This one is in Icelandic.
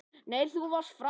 Nei, þú varst frábær!